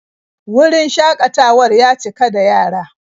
Wurin shakatawar ya cika da yara.